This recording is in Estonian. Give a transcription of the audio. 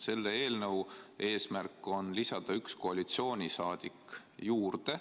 Selle eelnõu eesmärk on lisada üks koalitsiooniliige juurde.